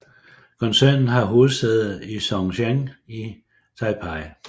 Koncernen har hovedsæde i Zhongzheng i Taipei